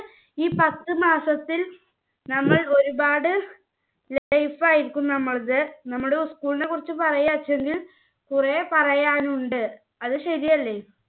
ഈ പത്ത് മാസത്തിൽ നമ്മൾ ഒരുപാട് safe ആയിരിക്കും. നമ്മുടെ school നെ കുറിച്ച് പറയാച്ചാല് കുറെ പറയാനുണ്ട്. അത് ശരിയല്ലേ?